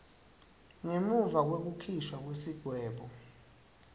ngemuva kwekukhishwa kwesigwebo